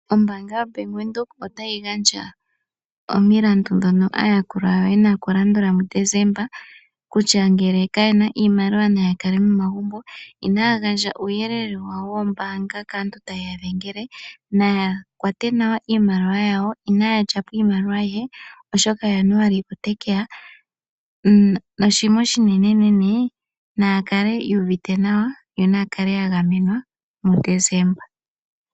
Ombaanga ya bank Windhoek otayi gandja omilandu dhono aayakulwa yawo yena okulandula muDecemba, kutya ngele kayena iimaliwa naya kale momagumbo inaya gandja uuyelele wawo wombaanga kaantu tayeya dhengele naya kwate nawa iimaliwa yawo oshoka Januali otekeya noshinima oshinene naya kale ya gamenwa yonaya kale yuu uvite nawa muDecemba.